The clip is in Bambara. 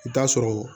I bi t'a sɔrɔ